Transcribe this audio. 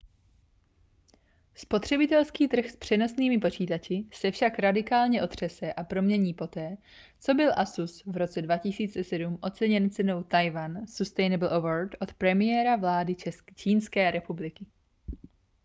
spotřebitelský trh s přenosnými počítači se však radikálně otřese a promění poté co byl asus v roce 2007 oceněn cenou taiwan sustainable award od premiéra vlády čínské republiky